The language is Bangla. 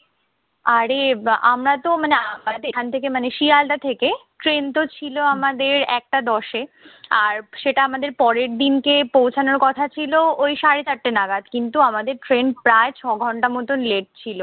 আরে, আমরাতো মানে মানে এখান থেকে মানে শিয়ালদাহ থেকে ট্রেনতো ছিল আমাদের একটা দশে, আর সেটা আমাদের পরের দিনকে পৌঁছানোর কথা ছিল ওই সাড়ে চারটা নাগাদ। কিন্তু আমাদের ট্রেন প্রায় ছয় ঘন্টা মতন late ছিল।